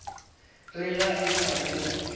re ga e sa le